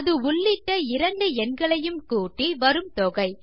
அது உள்ளிட்ட இரண்டு எண்களையும் கூட்டி வரும் தொகை